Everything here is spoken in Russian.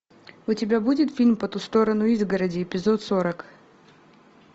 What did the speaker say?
у тебя будет фильм по ту сторону изгороди эпизод сорок